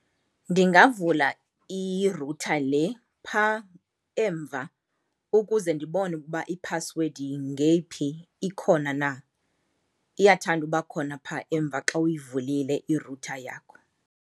Ndingavula i-router le pha emva ukuze ndibone ukuba iphasiwedi ngeyiphi, ikhona na. Iyathanda uba khona pha emva xa uyivulile i-router yakho.